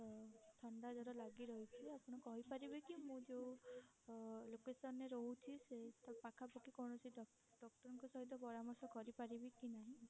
ଥଣ୍ଡା ଜର ଲାଗି ରହିଛି ଆପଣ କହି ପାରିବେ କି ମୁଁ ଯଉ ଅ location ରେ ରହୁଛି ସେଇ ପାଖା ପାଖି କୌଣସି doctor ଙ୍କ ସହିତ ପରାମର୍ଶ କରି ପାରିବି କି ନାହିଁ?